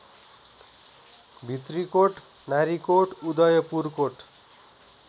Bhitrikot Narikot Udayapurkot